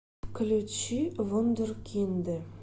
включи вундеркинды